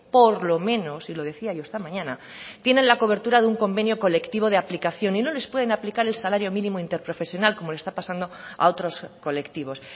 por lo menos y lo decía yo esta mañana tienen la cobertura de un convenio colectivo de aplicación y no les pueden aplicar el salario mínimo interprofesional como le está pasando a otros colectivos